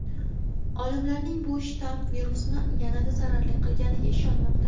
Olimlarning bu shtamm virusni yanada zararli qilganiga ishonmoqda.